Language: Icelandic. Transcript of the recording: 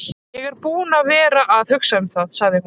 Ég er búin að vera að hugsa um það, sagði hún.